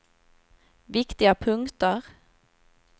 viktiga punkter